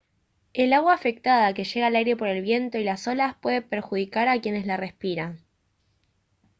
el agua afectada que llega al aire por el viento y las olas puede perjudicar a quienes la respiran